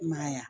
I ma ya